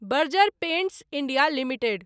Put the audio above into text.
Berger paints India limited